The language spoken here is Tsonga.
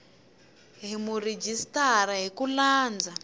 hi murhijisitara hi ku landza